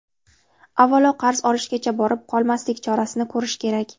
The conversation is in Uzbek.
Avvalo qarz olishgacha borib qolmaslik chorasini ko‘rish kerak.